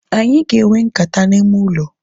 Anyị ga enwe nkata n'ime ụlọ